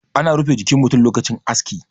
ana rufe jikin mutum lokacin aski